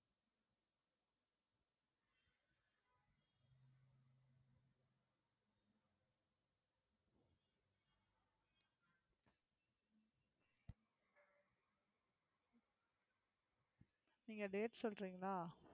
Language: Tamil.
நீங்க date சொல்றீங்களா